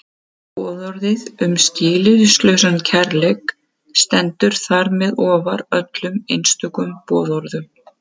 Boðorðið um skilyrðislausan kærleika stendur þar með ofar öllum einstökum boðorðum.